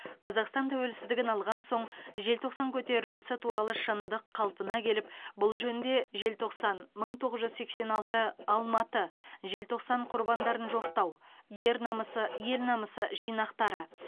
қазақстан төуелсіздігін алған соң желтоқсан көтерілісі туралы шындық калпына келіп бұл жөнінде желтоқсан мың тоғыз жүз сексен алты алматы желтоқсан құрбандарын жоқтау ер намысы ел намысы жинақтары